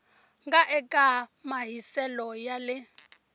nga eka mahiselo ya le